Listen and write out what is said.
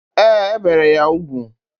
Ee, e bere ya ugwu.